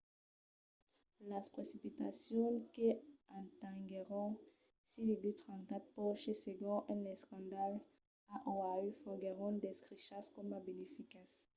las precipitacions que atenguèron 6,34 poces segon un escandalh a oahu foguèron descrichas coma beneficas